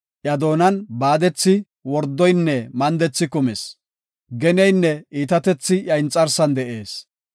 Iya doonan baadethi, wordoynne mandethi kumis. Geneynne iitatethi iyan inxarsan de7ees.